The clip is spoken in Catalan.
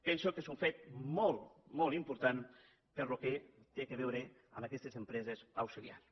penso que és un fet molt molt important pel que té a veure amb aquestes empreses auxiliars